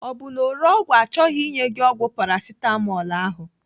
Ọ bụ na ore ọgwụ achọghị inye gị ọgwụ Paracetamol ahụ?